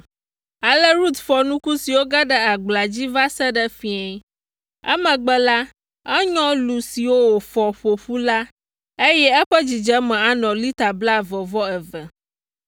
Ale Rut fɔ nuku siwo ge ɖe agblea dzi la va se ɖe fiẽ. Emegbe la, enyɔ lu siwo wòfɔ ƒo ƒu la, eye eƒe dzidzeme anɔ lita blaeve-vɔ-eve.